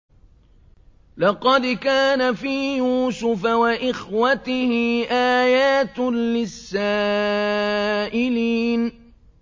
۞ لَّقَدْ كَانَ فِي يُوسُفَ وَإِخْوَتِهِ آيَاتٌ لِّلسَّائِلِينَ